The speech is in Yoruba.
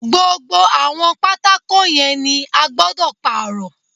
Gbogbo àwọn pátákó yẹn ni a gbọ́dọ̀ Pààrọ̀